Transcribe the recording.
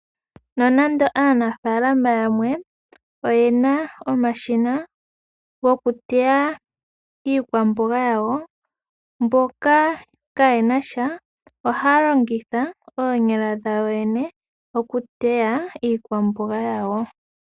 Nonando aanafaalama yamwe oye na omashina gokuteya iikwamboga yawo mboka kaye na sha ohaya longitha oonyala dhawo yoyene okuteya iiteywa yawo.